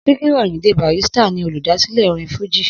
Síkírù Àyìndé Barrister ni olùdásílẹ̀ orin fújì